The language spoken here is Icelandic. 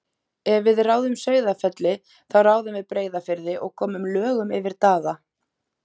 Ef við ráðum Sauðafelli þá ráðum við Breiðafirði og komum lögum yfir Daða.